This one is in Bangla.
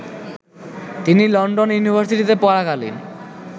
তিনি লন্ডন ইউনিভার্সিটিতে পড়াকালীন